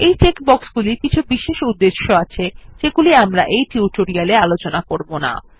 এই চেক বক্সগুলির কিছু বিশেষ উদ্দেশ্য আছে যেগুলি আমরা এই টিউটোরিয়াল এ আলোচনা করবো না